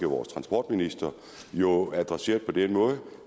vores transportminister jo adresseret på den måde